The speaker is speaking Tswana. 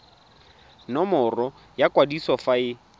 nomoro ya kwadiso fa e